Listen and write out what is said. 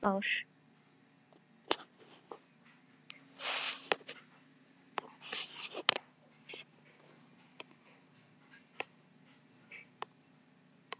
Eitt hár.